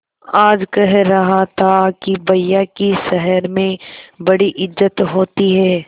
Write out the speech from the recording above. आज कह रहा था कि भैया की शहर में बड़ी इज्जत होती हैं